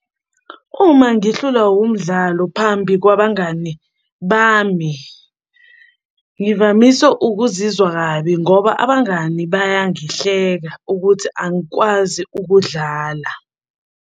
Uma ngihlulwa wumdlalo phambi kwabangani bami, ngivamise ukuzizwa kabi ngoba abangani bayangihleka ukuthi angikwazi ukudlala.